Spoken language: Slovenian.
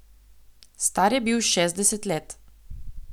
Star je bil šestdeset let.